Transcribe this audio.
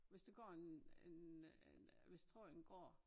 Hvis der går en en øh en øh hvis tråden går